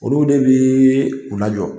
Olu de bi u lajɔ.